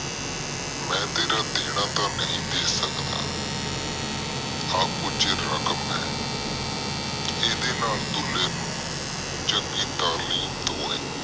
ਮੈਂ ਤੇਰਾ ਦੇਣਾ ਤਾ ਨਹੁਈ ਦੇ ਸਕਦਾ ਇਹ ਕੁਜ ਰਕਮ ਆ ਏਡੇ ਨਾਲ ਦੁਲੇ ਨੂੰ ਚੰਗੀ ਤਾਹਲਕੀਮ ਦਵਾਈ